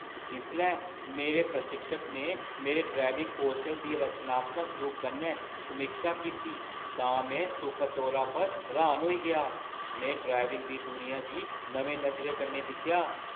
जिसलै मेरे प्रशिक्षक ने मेरे ड्राइविंग कौशल दी रचनात्मक रूप कन्नै समीक्षा कीती तां में सुखद तौरा पर र्‌हान होई गेआ। में ड्राइविंग दी दुनिया गी नमीं नजरें कन्नै दिक्खेआ।